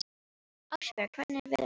Ástbjörg, hvernig er veðurspáin?